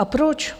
A proč?